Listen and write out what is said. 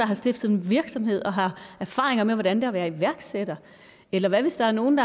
har stiftet en virksomhed og har erfaringer med hvordan at være iværksætter eller hvad hvis der er nogen